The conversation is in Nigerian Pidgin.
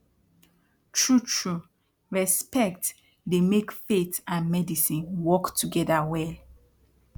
trutru respect dey make faith and medicine work togeda well